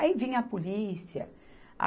Aí vinha a polícia.